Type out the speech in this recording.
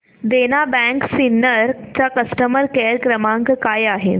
देना bank Sinnar चा customer care क्रमांक काय आहे